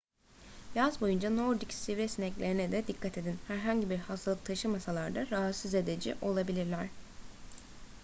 yaz boyunca nordik sivri sineklerine de dikkat edin herhangi bir hastalık taşımasalar da rahatsız edici olabilirler